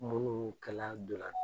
Munu kɛla ntolan.